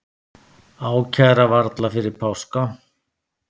Ákæra varla fyrir páska